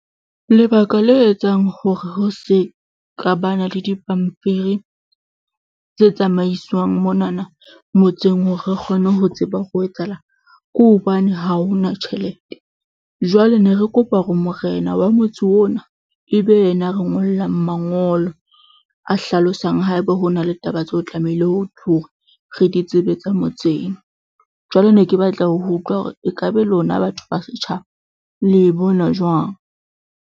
Lebaka le etsang hore ho se ka bana le dipampiri tse tsamaiswang monana motseng hore re kgone ho tseba hore ho etsahalang ke hobane ha ho na tjhelete. Jwale ne re kopa hore morena wa motse ona ebe yena a re ngollang mangolo a hlalosang haeba ho na le taba tseo tlamehileng hore re di tsebe tsa motseng. Jwale ne ke batla ho utlwa hore ekabe lona batho ba setjhaba le e bona jwang?